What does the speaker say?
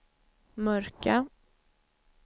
mörka